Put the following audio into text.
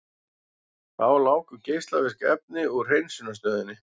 Þá láku geislavirk efni úr hreinsunarstöðinni